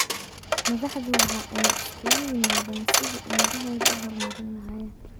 Madaxdu waxa ay isugu yimaaddeen sidii ay ummadahooda u horumarin lahaayeen.